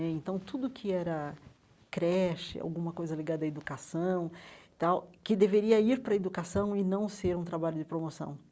Né então, tudo que era creche, alguma coisa ligada à educação tal, que deveria ir para a educação e não ser um trabalho de promoção.